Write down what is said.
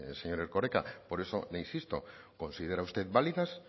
señor erkoreka por eso le insisto considera usted válidas